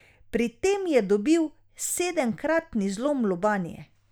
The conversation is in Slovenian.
Pri tem je dobil sedemkratni zlom lobanje.